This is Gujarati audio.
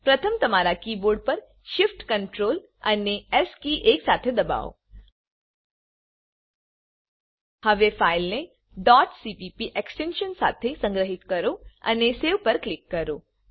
પ્રથમ તમારા કીબોર્ડ પર Shift Ctrl અને એસ કીઝ એક સાથે દબાવો હવે ફાઈલને ડોટ cppએક્સટેન્શન સાથે સંગ્રહિત કરો અને Saveપર ક્લિક કરો